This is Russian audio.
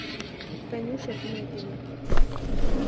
танюша пинигина